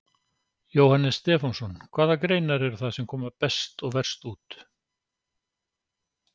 Jóhannes Stefánsson: Hvaða greinar eru það sem koma best og verst út?